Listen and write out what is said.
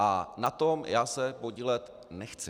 A na tom já se podílet nechci.